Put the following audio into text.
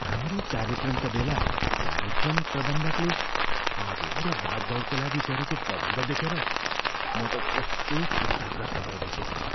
हाम्रो कार्यक्रमका बेला कार्यक्रम प्रबन्धकले आगो र भागदौडका लागि गरेको प्रबन्ध देखेर म त कस्तो चिन्ताग्रस्त भइरहेको थिएँ।